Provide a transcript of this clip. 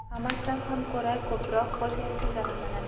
Hammasidan ham ko‘ra ko‘proq qo‘l terisi zararlanadi.